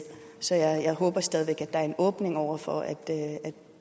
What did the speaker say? så jeg håber stadig væk at der er en åbning over for at